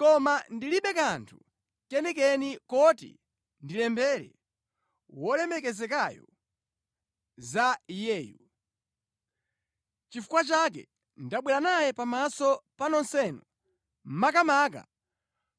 Koma ndilibe kanthu kenikeni koti ndilembere Wolemekezekayo za iyeyu. Nʼchifukwa chake ndabwera naye pamaso pa nonsenu, makamaka